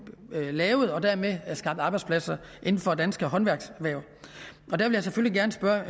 lavet og dermed få skabt arbejdspladser inden for danske håndværkserhverv jeg vil selvfølgelig gerne spørge